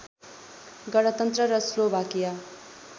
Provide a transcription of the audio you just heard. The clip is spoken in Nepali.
गणतन्त्र र स्लोभाकिया